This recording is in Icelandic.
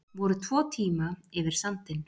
Voru tvo tíma yfir sandinn